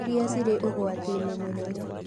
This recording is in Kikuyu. Iria cirĩ ũgwati-inĩ mũnene